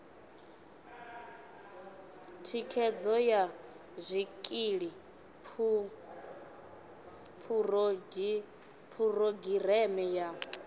thikhedzo ya zwikili phurogireme ya